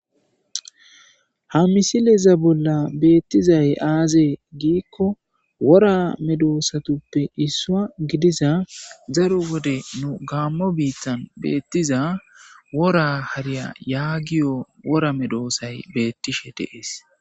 ha misileza bolla beettizay aazee giikko wora Medoosatuppe issua gidiza zaro wode nu gaammo biittan beettiza wora hariya yaagiyo wora medoosay beettishe deees